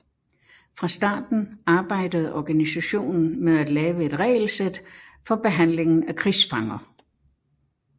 Fra starten arbejdede organisationen med at lave et regelsæt for behandlingen af krigsfanger